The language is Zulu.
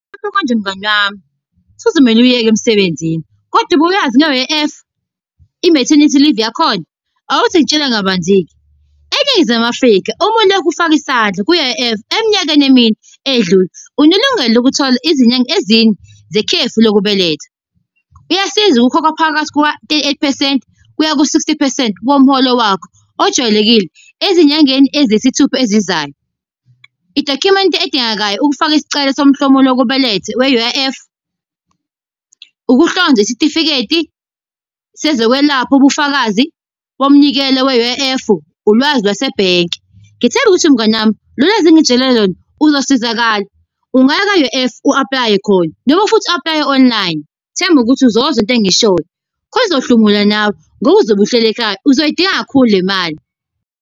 konje mngani wami, kusazomele uyeke emsebenzini. Kodwa ubuyazi nge-U_I_F, i-maternity leave yakhona? Awuthi ngikutshele kabanzi-ke, eNingizimu Afrika, uma ulokhu ufaka isandla kwi-U_I_F eminyakeni emine eyedlule, unelungelo lokuthola izinyanga ezine zekhefu lokubeletha. Kuyasiza ukukhokha phakathi kuka-thirty eight percent, kuya ku-sixty percent womholo wakho ojwayelekile ey'nyangeni eziyisithupha ezizayo. I-document edingekayo ukufaka isicelo somhlomulo wokubeletha we-U_I_F, ukuhlonza isitifiketi sezokwelapha ubufakazi bomnikelo we-U_I_F. Ulwazi lwasebhenki. Ngethemba ukuthi mngani wami, lo lwazi engikutshele lona, uzosizakala. Ungaya kwa-U_I_F u-aplaye khona noma futhi u-aplaye online. Themba ukuthi uzozwa into engiyishoyo, khona uzohlomula nawe, ngoba uzobe uhleli ekhaya uzoyidinga kakhulu le mali.